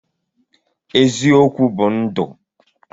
Eziokwu bu ndụ